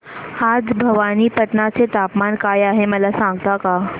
आज भवानीपटना चे तापमान काय आहे मला सांगता का